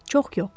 Çox yox.